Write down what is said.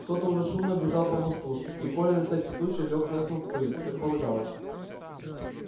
кто то уже шумно бежал по мосту и коля на всякий случай лёг носом в пыль как полагалось